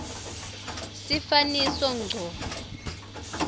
sifaniso ngco